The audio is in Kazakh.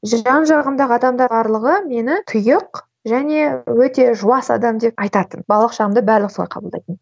жан жағымдағы адамдар барлығы мені тұйық және өте жуас адам деп айтатын балалық шағымда барлығы солай қабылдайтын